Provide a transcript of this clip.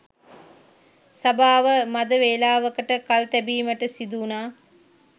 සභාව මද වේලාවකට කල් තැබීමට සිදුවුණා